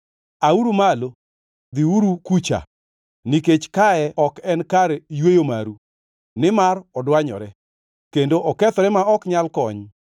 Auru malo, dhiuru kucha! Nikech kae ok en kar yweyo maru, nimar odwanyore, kendo okethore ma ok nyal kony.